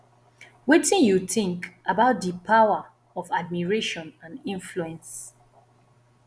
wetin you think about di power of admiration and influence